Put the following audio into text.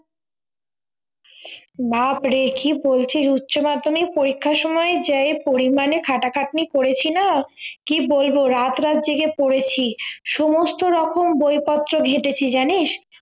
ব্যাপারে কি বলছিস উচ্চ মাধ্যমিক পরীক্ষার সময় যে পড়ি মানে খাটাখাটনি করেছি না কি বলবো রাত রাত জেগে পড়েছি সমস্থ রকম বই পত্র ঘেঁটেছি জানিস